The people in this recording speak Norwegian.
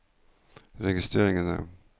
registreringene